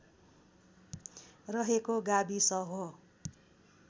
रहेको गाविस हो